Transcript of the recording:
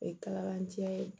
O ye kalakancɛ ye